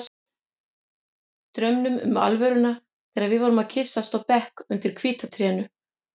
Draumnum um alvöruna þegar við vorum að kyssast á bekk undir hvíta trénu.